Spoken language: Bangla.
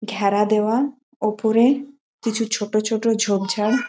ঘ্যাড়া দেওয়া ওপরে কিছু ছোট ছোট ঝোপ ঝাড়।